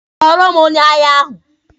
Kpọrọ m onye ahịa ahụ!